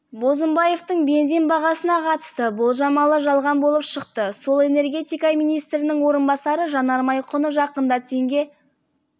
бозымбаевтың бензин бағасына қатысты болжамы жалған болып шықты сол энергетика министрінің орынбасары жанармай құны жақында теңге